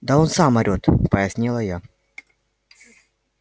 да он сам орет пояснила я